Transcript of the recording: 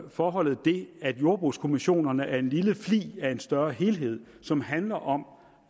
forholdet det at jordbrugskommissionerne er en lille flig af en større helhed som handler om